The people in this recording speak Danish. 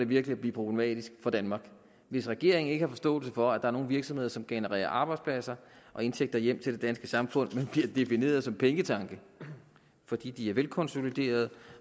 virkelig at blive problematisk for danmark hvis regeringen ikke har forståelse for at der er nogle virksomheder som genererer arbejdspladser og indtægter hjem til det danske samfund men bliver defineret som pengetanke fordi de er velkonsoliderede